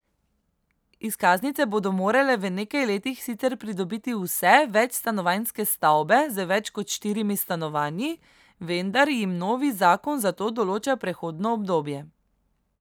Izkaznice bodo morale v nekaj letih sicer pridobiti vse večstanovanjske stavbe z več kot štirimi stanovanji, vendar jim novi zakon za to določa prehodno obdobje.